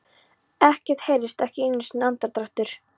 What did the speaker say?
Ekkert heyrðist, ekki einu sinni andardráttur.